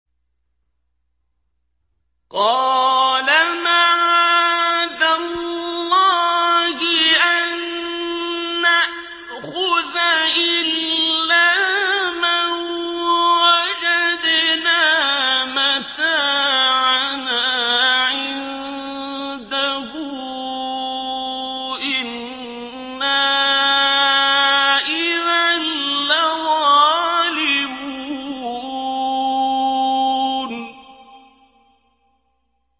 قَالَ مَعَاذَ اللَّهِ أَن نَّأْخُذَ إِلَّا مَن وَجَدْنَا مَتَاعَنَا عِندَهُ إِنَّا إِذًا لَّظَالِمُونَ